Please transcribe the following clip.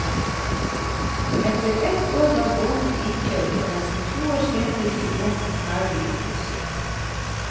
Etter ett år var båten innkjøpt og nesten to år senere sto båten ferdig oppusset.